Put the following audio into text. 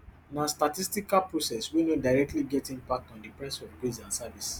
na statistical process wey no directly get impact on di price of goods and service